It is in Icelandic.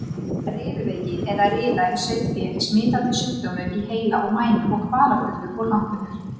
Riðuveiki eða riða í sauðfé er smitandi sjúkdómur í heila og mænu, kvalafullur og langvinnur.